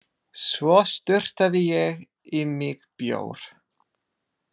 Svo sturtaði ég í mig bjór.